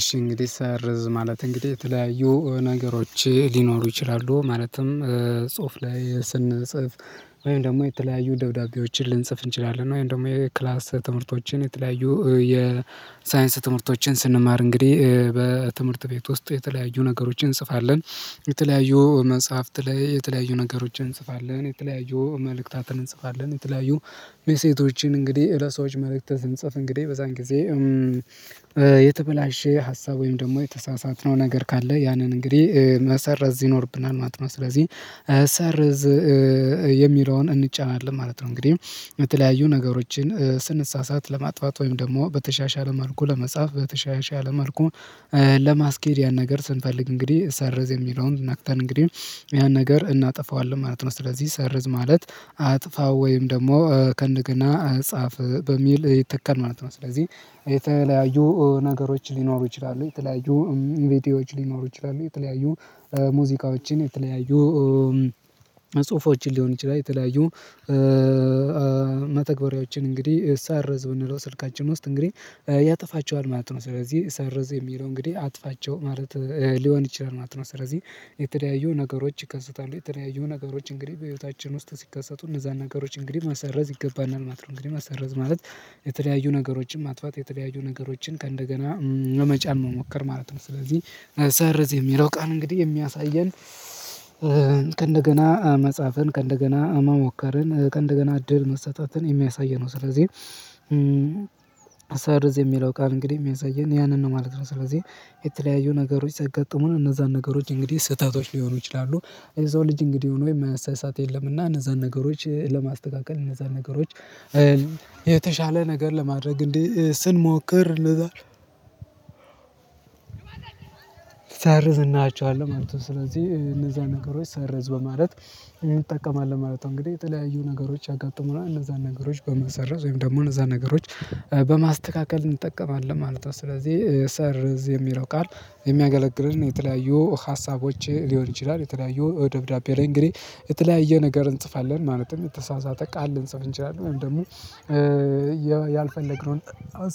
እሺ እንግዲህ ሰርዝ ማለት እንግዲህ የተለያዩ ነገሮች ሊኖሩ ይችላሉ። ማለትም ጽሁፍ ላይ ስንጽፍ ወይም ደግሞ የተለያዩ ደብዳቤዎችን ልንጽፍ እንችላለን። ወይም ደግሞ የክላስ ትምህርቶችን የተለያዩ የሳይንስ ትምህርቶችን ስንማር እንግዲህ በትምህርት ቤት ውስጥ የተለያዩ ነገሮችን እንጽፋለን። የተለያዩ መጽሐፍት ላይ የተለያዩ ነገሮችን እንጽፋለን የተለያዩ መልእክታትን እንጽፋለን የተለያዩ መሴቶችን እንግዲህ ለሰዎች መልእክት ትንጽፍ እንግዲህ በዛን ጊዜ የተበላሸ ሀሳብ ወይም ደግሞ የተሳሳትነው ነገር ካለ ያንን እንግዲህ መሰረዝ ይኖርብናል። ማት ነው ስለዚህ ሰርዝ የሚለውን እንጫናለን ማለት ነው። እንግዲህ በተለያዩ ነገሮችን ስንሳሳት ለማጥፋት ወይም ደግሞ በተሻሻለ መልኩ ለመጻፍ በተሻሻለ መልኩ ለማስኬድ ያን ነገር ስንፈልግ እንግዲህ ሰርዝ የሚለውን ነክተርን እንግዲህ ያን ነገር እናጠፋዋለን ማለት ነው። ስለዚህ ሰርዝ ማለት አጥፋው ወይም ደግሞ ከእንደገና ጻፍ በሚል ይተከለ ማለት ነው። ስለዚህ የተለያዩ ነገሮች ሊኖሩ ይችላሉ የተለያዩ ቪደወዎች ሊኖሩ ይችላሉ። የተለያዩ ሙዚቃዎችን የተለያዩ ጽሁፎችን ሊሆን ይችላል። የተለያዩ መተግበሪያዎችን እንግዲህ ሰርዝ ብንለው ስልካችን ውስጥ እንግዲህ ያጠፋቸዋል ማለት ነው። ስለዚህ ሰርዝ የሚለው እንግዲህ አጥፋቸው ማለት ሊሆን ይችላል ማለት ነው። ስለዚህ የተለያዩ ነገሮች ይከሰታሉ የተለያዩዩ ነገሮች እንግዲህ በህይወታችን ውስጥ ሲከሰቱ እነዛን ነገሮች እንግዲህ መሰረዝ ይገባናል ማለት ነው። እንግዲህ መሰረዝ ማለት የተለያዩ ነገሮችን ማጥፋት የተለያዩ ነገሮችን ከእንደገና ለመጫን መሞከር ማለት ነው። ስለዚህ ሰርዝ የሚለው ቃል እንግዲህ የሚያሳየን ከእንደገና መፃፍን ከእንደገና መሞከርን ከእንደገና እድል መሰጠትን የሚያሳይ ነው። ስለዚህ ሰርዝ የሚለው ቃል እንግዲህ የሚያሳየን ያንን ነው ማለት ነው። ስለዚህ የተለያዩ ነገሮች ሲያጋጥሙን እነዛን ነገሮች እንግዲህ ስህተቶች ሊሆኑ ይችላሉ የሰው ልጅ እንግዲህ ሆኖ የማያሳይ ሰዓት የለምና እነዛን ነገሮች ለማስተካከል እነዛን ነገሮች የተሻለ ነገር ለማድረግ እንዲህ ስንሞክር። ሰርዝ እንላቸዋለን ማለት ነው። ስለዚህ እነዛ ነገሮች ሰርዝ በማለት እንጠቀማለን ማለት ነው። እንግዲህ የተለያዩ ነገሮች ያጋጥሙናል እነዛን ነገሮች በመሰረዝ ወይም ደግሞ እነዛን ነገሮች በማስተካከል እንጠቀማለን ማለት ነው። ስለዚህ ሰርዝ የሚለው ቃል የሚያገለግለን የተለያዩ ሀሳቦች ሊሆን ይችላል። የተለያዩ ደብዳቤ ላይ እንግዲህ የተለያየ ነገር እንጽፋለን ማለትም የተሳሳተ ቃል ልንጽፍ እንችላለን ወይም ደግሞ ያልፈለግነውን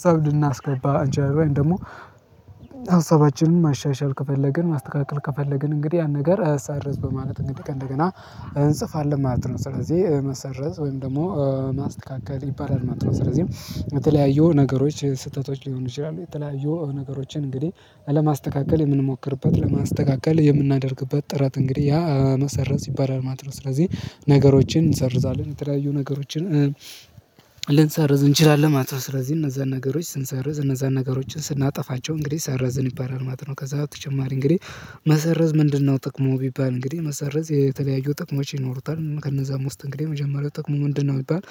ሰው ልናስገባ አንችላለን ወይ ደግሞ ሀሳባችንን ማሻሻል ከፈለግን ማስተካከል ከፈለግን እንግዲህ ያን ነገር ሰርዝ በማለት እንግዲህ ከ እንገደገና እንጽፋለን ማለት ነው። ስለዚህ መሰረዝ ወይም ደግሞ ማስተካከል ይባላል ማለት ነው። ስለዚህ የተለያየው ነገሮች ስህተቶች ሊሆኑ ይችላሉ የተለያዩ ነገሮችን እንግዲህ አለማስተካከል የምንሞክርበት ለማስተካከል የምናደርግበት ጥረት እንግዲህ ያ መሰረዝ ይባላል ማለት ነው። ስለዚህ ነገሮችን እንሰርዛለን የተለያዩ ነገሮችን ልንሰርዝ እንችላለን ማለት ነው። ስለዚህ እነዛን ነገሮች ስንሰርዝ እነዛን ነገሮችን ስናጠፋቸው እንግዲህ ሰርዝን ይባላል ማለት ነው። ከዛ ተጨማሪ እንግዲህ መሰረዝ ምንድነው? ጥቅሙ ቢባል እንግዲህ መሰረዝ የተለያዩ ጥቅሞች ይኖሩታል። ከነዛ ውስጥ እንግዲህ የመጀመሪያው ጥቅሙ ምንድነው? ይባል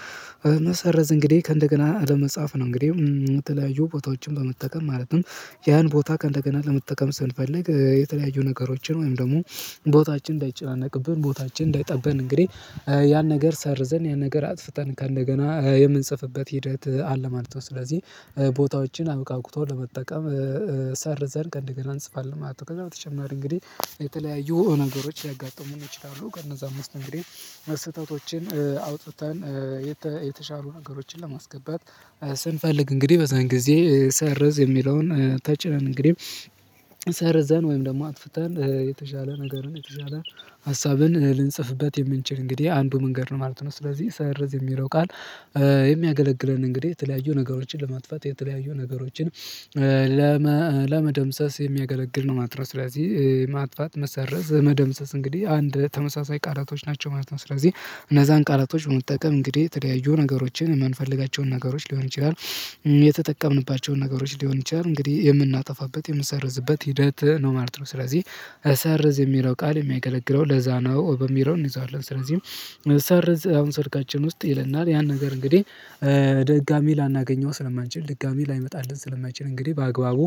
መሰረዝ እንግዲህ ከእንደገና ለመጻፍ ነው። እንግዲህ የተለያዩ ቦታዎችን በመጠቀም ማለትም ያን ቦታ ከእንደገና ለመጠቀም ስንፈልግ የተለያዩ ነገሮችን ወይም ደግሞ ቦታችን እንዳይጨናነቅብን ቦታችን እንዳይጠብን እንግዲህ ያን ነገር ሰርዘን ያን ነገር አጥፍተን ከእንደገና የምንጽፍበት ሂደት አለ ማለት ነው። ስለዚህ ቦታዎችን አብቃቅቶ ለመጠቀም ሰርዘን ከእንደገና እንጽፋለን ማለት ነው። ከዛ በተጨማሪ እንግዲህ የተለያዩ ነገሮች ሊያጋጥሙን ይችላሉ። ከነዛም ውስጥ እንግዲህ ስህተቶችን አውጥተን የተሻሩ ነገሮችን ለማስገባት ስንፈልግ እንግዲህ በዛን ጊዜ ሰርዝ የሚለውን ተጭነን እንግዲህ ሰርዘን ወይም ደግሞ አጥፍተን የተሻለ ነገርን የተሻለ ሀሳብን ልንጽፍበት የምንችል እንግዲህ አንዱ መንገድ ነው ማለት ነው። ስለዚህ ሰርዝ የሚለው ቃል የሚያገለግለን እንግዲህ የተለያዩ ነገሮችን ለማጥፋት የተለያዩ ነገሮችን ለመደምሰስ የሚያገለግል ነው። ማትረስ ስለዚህ ማጥፋት መሰረዝ መደምሰስ እንግዲህ አንድ ተመሳሳይ ቃላቶች ናቸው ማለት ነው። ስለዚህ እነዛን ቃላቶች በመጠቀም እንግዲህ የተለያዩ ነገሮችን የማንፈልጋቸውን ነገሮች ሊሆን ይችላል። ነገሮች ሊሆን ይችላል እንግዲህ የምናጠፋበት የምንሰርዝበት ሂደት ነው ማለት ነው። ስለዚህ እሰርዝ የሚለው ቃል የሚያገለግለው ለዛ ነው በሚለው እንይዛለን። ስለዚህ ሰርዝ አሁን ስልካችን ውስጥ ይለናል ያን ነገር እንግዲህ ድጋሜ ላናገኘው ስለማንችል ድጋሜ ላይመጣልን ስለማይችል እንግዲህ በአግባቡ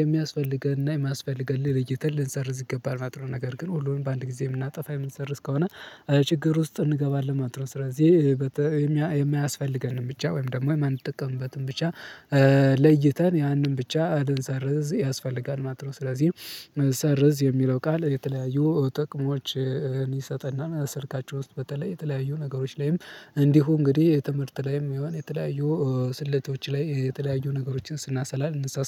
የሚያስፈልገንን እና የማያስፈልገን ለይተን ልንሰርዝ ይገባል ማልት ነው። ነገር ግን ሁሉንም በአንድ ጊዜ የምናጠፋ የምንሰርዝ ከሆነ ችግር ውስጥ እንገባለን ማለት ነው። ስለዚህ የማያስፈልገንን ብቻ ወይም ደግሞ የማንጠቀምበትን ብቻ ለይተን ያንን ብቻ እንድንሰርዝ ያስፈልጋል ማለት ነው። ስለዚህ ሰርዝ የሚለው ቃል የተለያዩ ጥቅሞችን ይሰጥና ል ስልካችን ውስጥ በተለይ የተለያዩ ነገሮች ላይም እንዲሁ እንግዲህ የትምህርት ላይም የሆነ የተለያዩ ስልቶች ላይ የተለያዩ ነገሮችን ስናሰላ